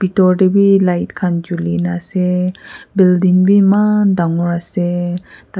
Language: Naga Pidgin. door teh be light kan chuli kina aseee building beh emmman tangore aseee.